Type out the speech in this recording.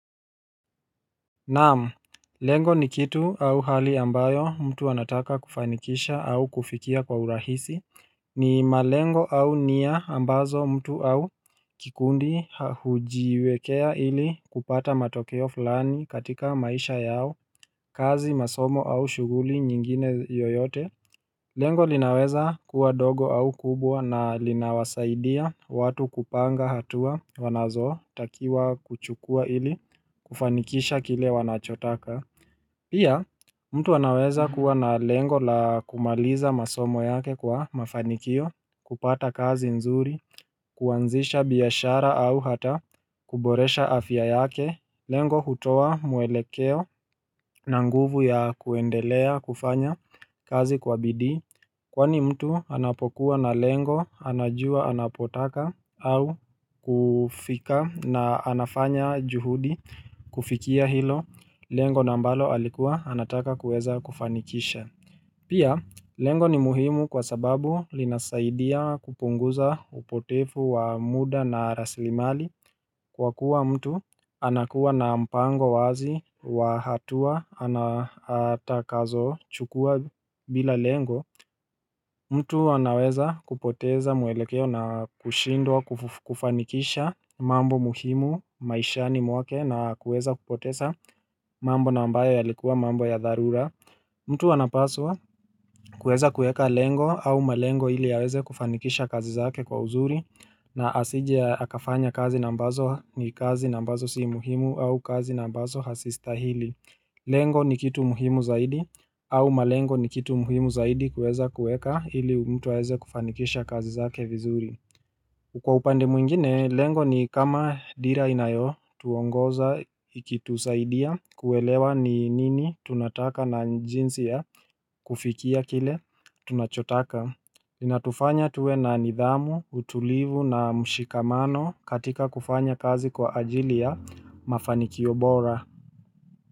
Naam, lengo ni kitu au hali ambayo mtu anataka kufanikisha au kufikia kwa urahisi ni malengo au nia ambazo mtu au kikundi hujiwekea ili kupata matokeo fulani katika maisha yao, kazi masomo au shughuli nyingine yoyote. Lengo linaweza kuwa dogo au kubwa na linawasaidia watu kupanga hatua wanazo takiwa kuchukua ili kufanikisha kile wanachotaka. Pia mtu anaweza kuwa na lengo la kumaliza masomo yake kwa mafanikio, kupata kazi nzuri, kuanzisha biashara au hata kuboresha afya yake. Lengo kutoa mwelekeo na nguvu ya kuendelea kufanya kazi kwa bidii Kwani mtu anapokuwa na lengo anajua anapotaka au kufika na anafanya juhudi kufikia hilo Lengo na ambalo alikuwa anataka kuweza kufanikisha Pia lengo ni muhimu kwa sababu linasaidia kupunguza upotevu wa muda na rasilimali kwa kuwa mtu anakuwa na mpango wazi wa hatua atakazo chukua bila lengo mtu anaweza kupoteza mwelekeo na kushindwa kufanikisha mambo muhimu maishani mwake na kuweza kupoteza mambo na ambayo yalikuwa mambo ya dharura mtu anapaswa kuweza kuweka lengo au malengo ili yaweze kufanikisha kazi zake kwa uzuri na asije akafanya kazi na ambazo ni kazi na ambazo si muhimu au kazi na ambazo hazistahili Lengo ni kitu muhimu zaidi au malengo ni kitu muhimu zaidi kuweza kuweka ili mtu aweze kufanikisha kazi zake vizuri kwa upande mwingine, lengo ni kama dira inayo tuongoza iki tusaidia kuelewa ni nini tunataka na jinsi ya kufikia kile tunachotaka zina tufanya tuwe na nidhamu, utulivu na mshikamano katika kufanya kazi kwa ajili ya mafanikio bora.